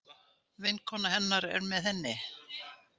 Vinkona hennar er með henni.